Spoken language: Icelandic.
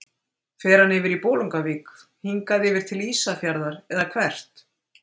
Fer hann yfir í Bolungarvík, hingað yfir til Ísafjarðar eða hvert?